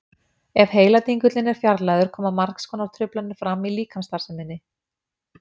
Ef heiladingullinn er fjarlægður koma margs konar truflanir fram á líkamsstarfseminni.